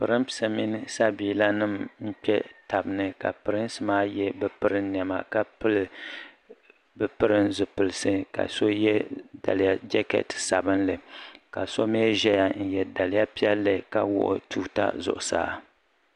Pirinsi mini sabila nima n kpe taba ni pirinsi maa ye bɛ pirin niɛma ka pili bɛ pirin zipilisi la so ye jeketi sabinli ka so mee ʒɛya n ye daliya piɛlli la wuɣi tuuta zuɣusaa.